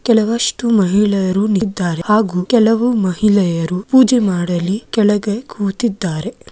ಕೆಲವಷ್ಟು ಮಹಿಳೆಯರು ನಿತ್ತಿದ್ದಾರೆ ಹಾಗೂ ಕೆಲವು ಮಹಿಳೆಯರು ಪೂಜೆ ಮಾಡಲಿ ಕೆಳಗೆ ಕೂತಿದ್ದಾರೆ.